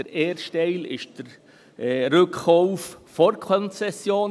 Der erste Teil betrifft den Rückkauf vor Konzessionsende.